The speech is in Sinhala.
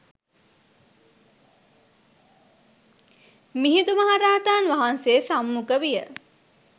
මිහිඳු මහරහතන් වහන්සේ සම්මුඛ විය.